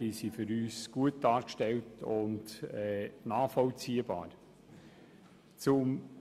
diese sind aus unserer Sicht gut und nachvollziehbar dargestellt.